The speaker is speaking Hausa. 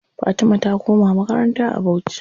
Fatima ta koma makaranta a bauchi.